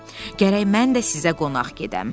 Gərək mən də sizə qonaq gedəm.